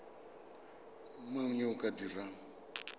mang yo o ka dirang